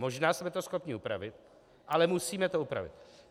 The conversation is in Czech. Možná jsme to schopni upravit, ale musíme to upravit.